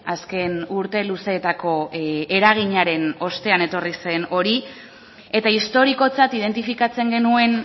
azken urte luzeetako eraginaren ostean etorri zen hori eta historikotzat identifikatzen genuen